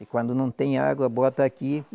E quando não tem água, bota aqui.